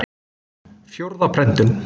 Fjórða prentun.